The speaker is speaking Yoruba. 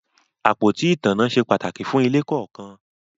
Àpótí ìtanná se pàtàkì fún ilé kọ̀ọ̀kan